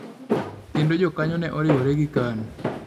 Kendo jokanyo ne oriwore gi KANU.